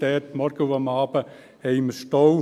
Am Morgen und am Abend haben wir einen Stau.